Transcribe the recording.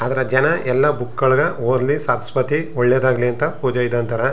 ಆದರೆ ಜನ ಎಲ್ಲ ಬುಕ್ ಗಳಿಗೆ ಓದಲಿ ಸರಸ್ವತಿ ಒಳ್ಳೆದಾಗಲಿ ಅಂತ ಪೂಜೆ ಇದು ಅಂತಾರೆ.